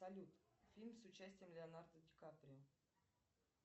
салют фильм с участием леонардо ди каприо